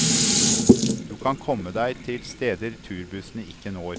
Du kan komme deg til steder turbussene ikke når.